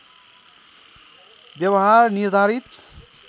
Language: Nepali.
व्यवहार निर्धारित